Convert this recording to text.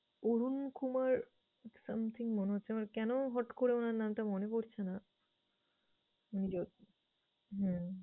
Arunkumar something মনে হচ্ছে। আমার কেন হট করে উনার নামটা মনে পরছে না? যাক হম